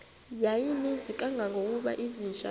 yayininzi kangangokuba izinja